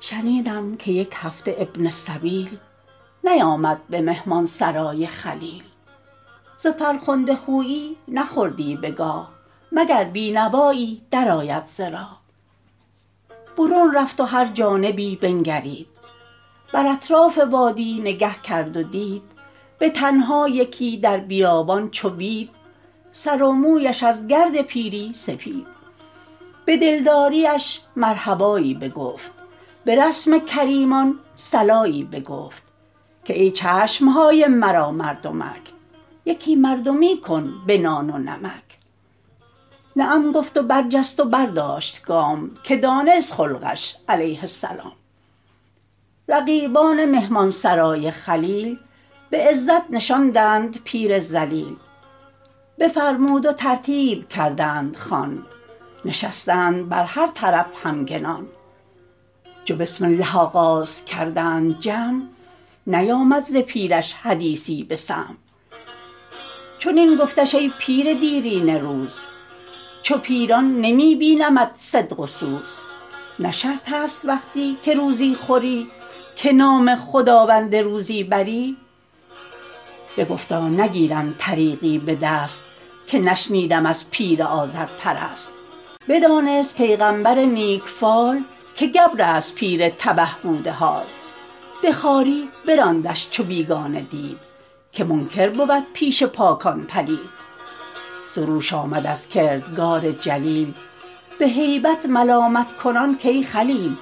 شنیدم که یک هفته ابن السبیل نیامد به مهمانسرای خلیل ز فرخنده خویی نخوردی بگاه مگر بینوایی در آید ز راه برون رفت و هر جانبی بنگرید بر اطراف وادی نگه کرد و دید به تنها یکی در بیابان چو بید سر و مویش از گرد پیری سپید به دلداریش مرحبایی بگفت به رسم کریمان صلایی بگفت که ای چشمهای مرا مردمک یکی مردمی کن به نان و نمک نعم گفت و برجست و برداشت گام که دانست خلقش علیه السلام رقیبان مهمانسرای خلیل به عزت نشاندند پیر ذلیل بفرمود و ترتیب کردند خوان نشستند بر هر طرف همگنان چو بسم الله آغاز کردند جمع نیامد ز پیرش حدیثی به سمع چنین گفتش ای پیر دیرینه روز چو پیران نمی بینمت صدق و سوز نه شرط است وقتی که روزی خوری که نام خداوند روزی بری بگفتا نگیرم طریقی به دست که نشنیدم از پیر آذرپرست بدانست پیغمبر نیک فال که گبر است پیر تبه بوده حال به خواری براندش چو بیگانه دید که منکر بود پیش پاکان پلید سروش آمد از کردگار جلیل به هیبت ملامت کنان کای خلیل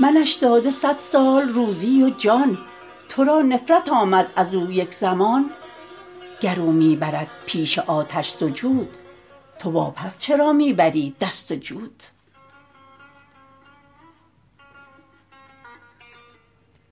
منش داده صد سال روزی و جان تو را نفرت آمد از او یک زمان گر او می برد پیش آتش سجود تو وا پس چرا می بری دست جود